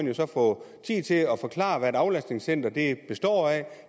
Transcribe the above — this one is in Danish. jo så få tid til at forklare hvad et aflastningscenter består af